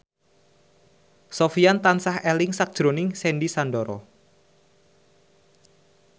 Sofyan tansah eling sakjroning Sandy Sandoro